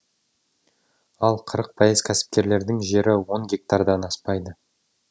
ал қырық пайыз кәсіпкерлердің жері он гектардан аспайды